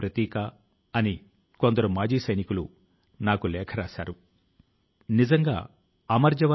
ప్రతి కష్ట సమయంలో ఒక కుటుంబంలా ఒకరికొకరం అండగా నిలచాం